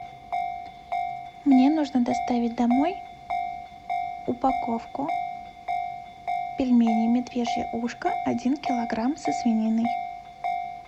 мне нужно доставить домой упаковку пельменей медвежье ушко один килограмм со свининой